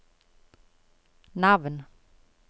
navn